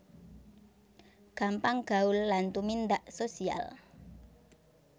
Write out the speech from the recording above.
Gampang gaul lan tumindak social